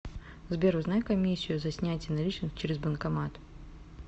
сбер узнай комиссию за снятие наличных через банкомат